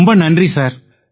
ரொம்ப நன்றி சார்